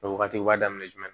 O wagati u b'a daminɛ jumɛn